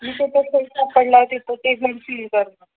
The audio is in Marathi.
जिथे पडला ते घर सील करतात